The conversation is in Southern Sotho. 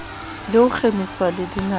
le ho kgemiswa le dinako